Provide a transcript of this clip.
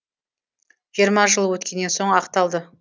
жиырма жыл өткеннен соң ақталды